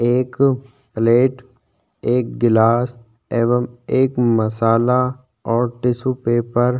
एक प्लेट एक गिलास एवं एक मसाला और टिशू पेपर --